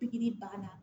Pikiri banna